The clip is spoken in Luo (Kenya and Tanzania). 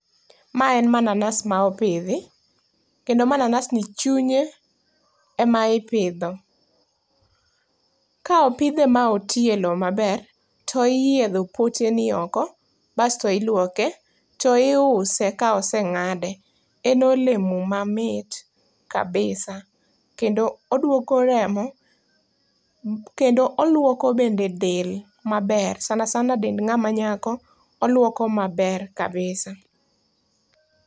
Ma en mananas ma opidhi kendo mananas ni chunye ema ipidho. Ka opidhe ma otii e loo maber to iyiedho poteni oko basto iluoke to iuse ka osengade. En olemo mamit kabisa kendo oduoko remo kendo oluoko bende del maber, sana sana dend ngama nyako, oluoko maber kabisa